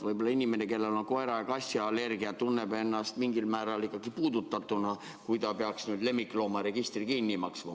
Võib-olla inimene, kellel on koera- ja kassiallergia, tunneks ennast mingil määral ikkagi puudutatuna, kui ta peaks nüüd lemmikloomaregistri kinni maksma.